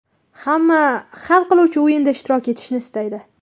Hamma ham hal qiluvchi o‘yinda ishtirok etishni istaydi.